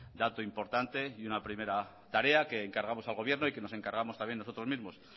dato importante y una primera tarea que encargamos al gobierno y que nos encargamos también nosotros mismos